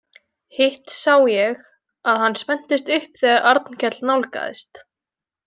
Hitt sá ég að hann spenntist upp þegar Arnkell nálgaðist.